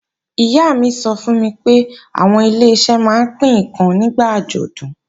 Ìyá mi sọ fún mi pé àwọn Ileṣẹ́ máa ń pín ǹkan nígbà àjọ̀dún